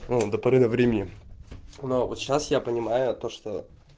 до поры до времени но вот сейчас я понимаю то что